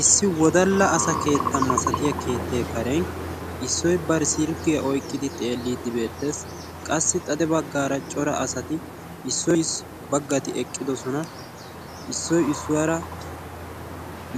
issi wodala asa keetta malatiya keettee karen issoy bari silkkiya oyqidi xeelidi beettees. qassi xade bagaara cora asati eqqidosona, issoy issuwara